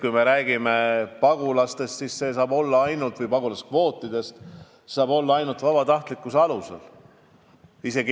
Kui me räägime pagulastest ja rändekvootidest, siis see kõik saab toimuda ainult vabatahtlikkuse alusel.